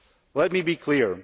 Let me be clear.